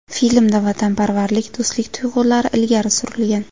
Filmda vatanparvarlik, do‘stlik tuyg‘ulari ilgari surilgan.